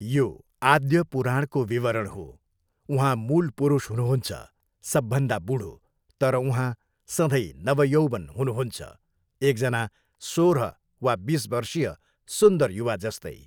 यो आद्य पुराणको विवरण हो। उहाँ मूल पुरुष हुनुहुन्छ, सबभन्दा बुढो, तर उहाँ सधैँ नव यौवन हुनुहुन्छ, एकजना सोह्र वा बिस वर्षीय सुन्दर युवा जस्तै।